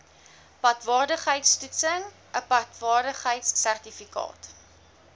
padwaardigheidtoetsing n padwaardigheidsertifikaat